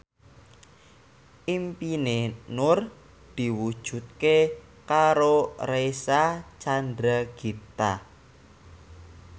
impine Nur diwujudke karo Reysa Chandragitta